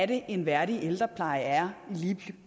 det er en værdig ældrepleje er lige